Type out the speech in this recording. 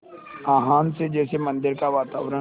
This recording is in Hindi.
आह्वान से जैसे मंदिर का वातावरण